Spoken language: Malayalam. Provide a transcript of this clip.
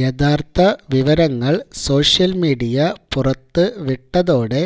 യഥാര്ഥ വിവരങ്ങള് സോഷ്യല് മീഡിയ പുറത്ത് വിട്ടതോടെ